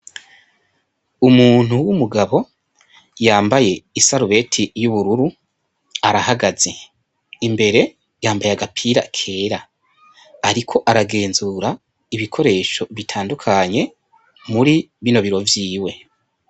Umuntu w’umugabo yambaye isarubeti y’ubururu arahagaze, imbere yambaye agapira kera ariko aragenzura ibikoresho bitandukanye muri bino biro vyiwe.